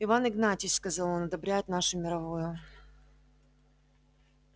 иван игнатьич сказал он одобряет нашу мировую